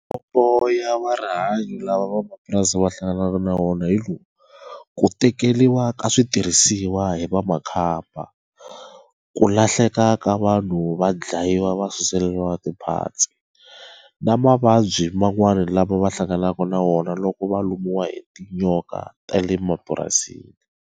Ya rihanyo lava vamapurasi va hlanganaka na wona hi lowu ku tekeriwa ka switirhisiwa hi va makhamba ku lahleka ka va vanhu va dlayiwa va suseleriwa ti parts na mavabyi man'wana lama va hlanganaka na wona loko va lumiwa hi tinyoka ta le mapurasini.